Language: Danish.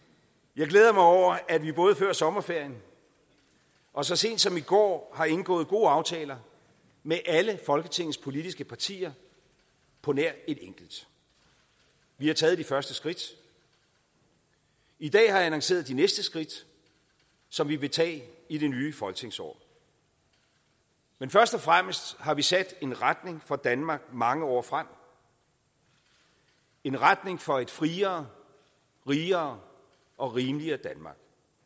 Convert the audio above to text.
jeg glæder mig over at vi både før sommerferien og så sent som i går har indgået gode aftaler med alle folketingets politiske partier på nær et enkelt vi har taget de første skridt i dag har jeg annonceret de næste skridt som vi vil tage i det nye folketingsår men først og fremmest har vi sat en retning for danmark mange år frem en retning for et friere rigere og rimeligere danmark